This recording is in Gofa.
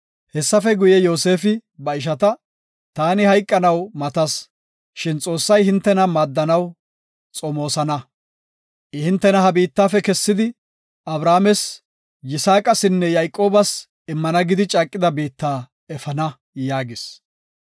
Hessafe guye Yoosefi ba ishata, “Taani hayqanaw matas, shin Xoossay hintena maaddanaw xomoosana. I hintena ha biittafe kessidi, Abrahaames, Yisaaqasinne Yayqoobas immana gidi caaqida biitta efana” yaagis.